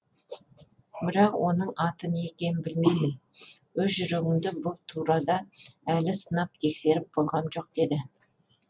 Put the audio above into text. бірақ оның аты не екенін білмеймін өз жүрегімді бұл турада әлі сынап тексеріп болғаным жоқ деді